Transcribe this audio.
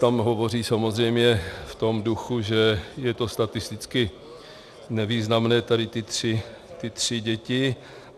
Tam hovoří samozřejmě v tom duchu, že je to statisticky nevýznamné, tady ty tři děti.